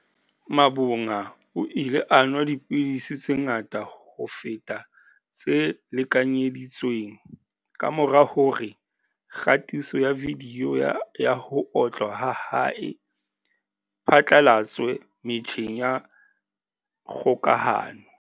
Mavhunga o ile a nwa dipidisi tse ngata ho feta tse lekanyedi tsweng kamora hore kgatiso ya vidiyo ya ho otlwa ha hae e phatlalatswe metjheng ya kgokahano.